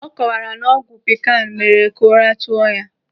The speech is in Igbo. Ọ kọwara na ọgwụ pikanu mere ka ụra tụọ ya.